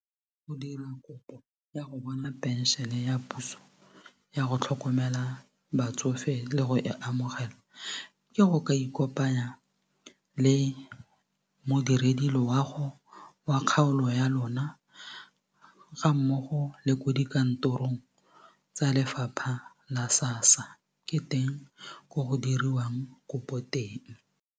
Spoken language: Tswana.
Go dira kopo ya go bona pension ya puso ya go tlhokomela batsofe le go e amogela ke go ka ikopanya le modiredi loago wa kgaolo ya lona ga mmogo le ko dikantorong tsa lefapha la SASSA ke teng ko go diriwang kopo teng.